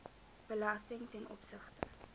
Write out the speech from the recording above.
belasting ten opsigte